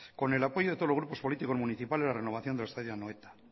con el apoyo de todos los grupos políticos municipales la renovación del estadio de anoeta